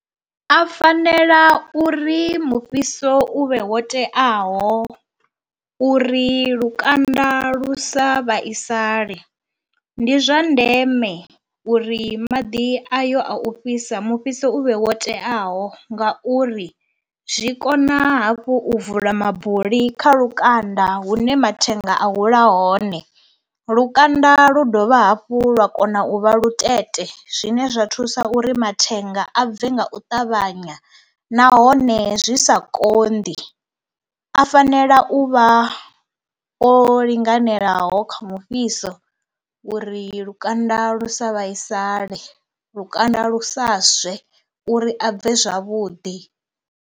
A fanela uri mufhiso u vhe wo teaho uri lukanda lu sa vhaisale. Ndi zwa ndeme uri maḓi a yo a u fhisa mufhiso u vhe wo teaho ngauri zwi kona hafhu u vula mabuli kha lukanda hune mathenga a hula hone, lukanda lu dovha hafhu lwa kona u vha luṱere zwine zwa thusa uri mathenga a bve nga u ṱavhanya nahone zwi sa kondi. A fanela u vha o linganelaho kha mufhiso uri lukanda lu sa vhaisale, lukanda lu sa swe uri a bve zwavhuḓi.